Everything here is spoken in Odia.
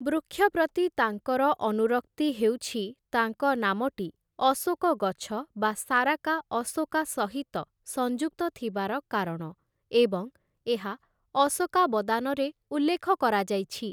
ବୃକ୍ଷ ପ୍ରତି ତାଙ୍କର ଅନୁରକ୍ତି ହେଉଛି ତାଙ୍କ ନାମଟି 'ଅଶୋକ ଗଛ' ବା 'ସାରାକା ଆଶୋକା' ସହିତ ସଂଯୁକ୍ତ ଥିବାର କାରଣ ଏବଂ ଏହା 'ଅଶୋକାବଦାନ' ରେ ଉଲ୍ଲେଖ କରାଯାଇଛି ।